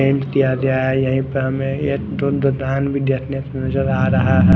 Tenth की अध्याय है यही पे हमें नजर आ रहा है।